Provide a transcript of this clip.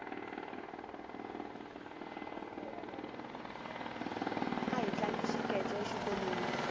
ahi tlanga xikece exikolweni